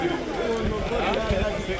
Mənim nömrəmi götürün.